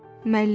Müəllim: